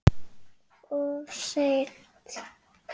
Of seint.